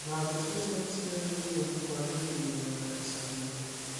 Njanjo cia ciana nĩciagĩrĩirwo nĩ kwagĩrithio mĩena ya icagi-inĩ